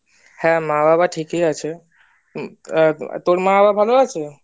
হ্যাঁ মা বাবা ঠিকই আছে, তোর মা বাবা ভালো আছে?